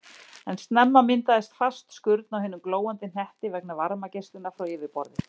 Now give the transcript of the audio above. En snemma myndaðist fast skurn á hinum glóandi hnetti vegna varmageislunar frá yfirborði.